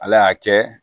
Ala y'a kɛ